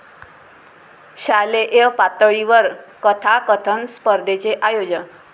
शालेय पातळीवर कथाकथन स्पर्धेचे आयोजन